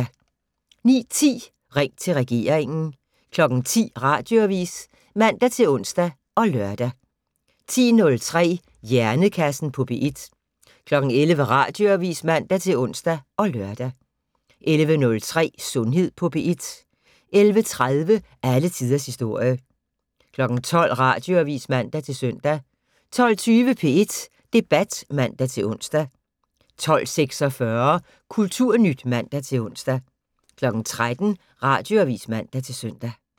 09:10: Ring til regeringen 10:00: Radioavis (man-ons og lør) 10:03: Hjernekassen på P1 11:00: Radioavis (man-ons og lør) 11:03: Sundhed på P1 11:30: Alle tiders historie 12:00: Radioavis (man-søn) 12:20: P1 Debat (man-ons) 12:46: Kulturnyt (man-ons) 13:00: Radioavis (man-søn)